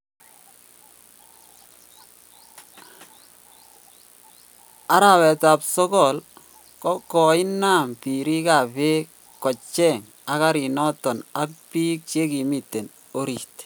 Arawet ap sogol 8: Koinam pirik ap peg kocheng akarinoton ag pik che kimiten orit.